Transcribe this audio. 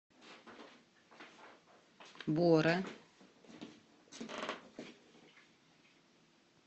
бора